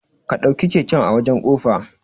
Ka ɗauke keken a wajan kofa